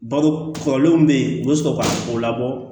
Balo kɔrɔlenw bɛ yen u bɛ sɔrɔ ka o labɔ